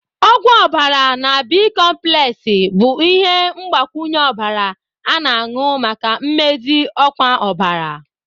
Ogwu obara na B.komplexi bụ ihe mgbakwunye ọbara a-na anu maka mmezi ọkwa ọbara.